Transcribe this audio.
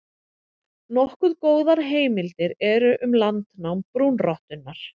Nokkuð góðar heimildir eru um landnám brúnrottunnar.